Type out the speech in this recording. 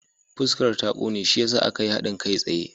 Fuskar ta ƙone shi ya sa aka yi haɗin kai tsaye.